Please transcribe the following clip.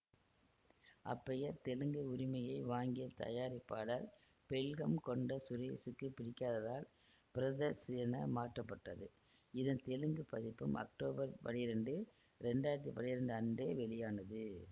அப்பெயர் தெலுங்கு உரிமையை வாங்கிய தயாரிப்பாளர் பெல்கம்கொண்ட சுரேசுக்கு பிடிக்காததால் பிரதர்சு என மாற்றப்பட்டது இதன் தெலுங்கு பதிப்பும் அக்டோபர் பன்னிரெண்டு இரண்டு ஆயிரத்தி பன்னிரெண்டு அன்று வெளியானது